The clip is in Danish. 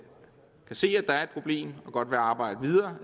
se at der er et problem og godt vil arbejde videre